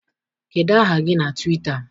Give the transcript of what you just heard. Kedụ aha gị na Twịta?